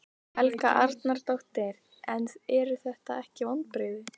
Helga Arnardóttir: En eru þetta ekki vonbrigði?